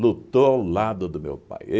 lutou ao lado do meu pai.